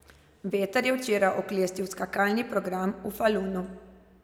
Veter je včeraj oklestil skakalni program v Falunu.